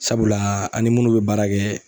Sabula an' ni munnu bɛ baara kɛ